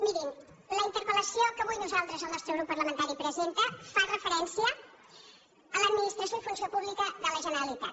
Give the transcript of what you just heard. mirin la interpel·lació que avui nosaltres el nostre grup parlamentari presentem fa referència a l’administració i funció pública de la generalitat